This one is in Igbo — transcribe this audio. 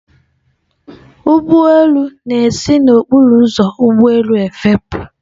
Ụgbọ elu na-esi n'okporo ụzọ ụgbọ elu efepụ.